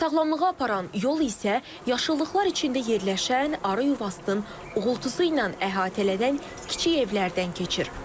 Sağlamlığa aparan yol isə yaşıllıqlar içində yerləşən arı yuvasının uğultusu ilə əhatələnən kiçik evlərdən keçir.